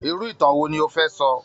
Irú ìtàn wo ni o fẹ́ sọ?